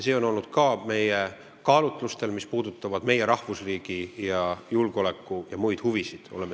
Me ei ole seda teinud kaalutlustel, mis puudutavad meie rahvusriigi julgeoleku- ja muid huvisid.